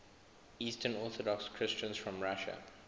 eastern orthodox christians from russia